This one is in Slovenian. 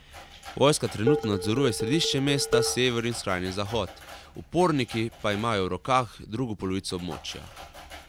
Vojska trenutno nadzoruje središče mesta, sever in skrajni zahod, uporniki pa imajo v rokah drugo polovico območja.